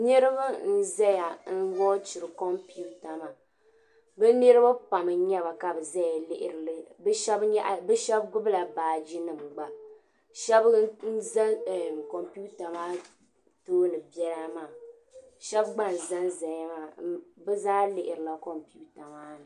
Niriba n ʒaya. n wauchiri kon piuter maa. bi niribi pam n nyɛba ka bi ʒɛya n lihiri kon piuter maa, shabi n ʒakon piuter maa tooni bela maa, shabi gba n ʒanʒaya maa bi zaa lihirila konpiutre maa.